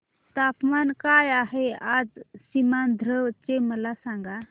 तापमान काय आहे आज सीमांध्र चे मला सांगा